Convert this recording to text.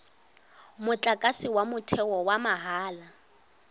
motlakase wa motheo wa mahala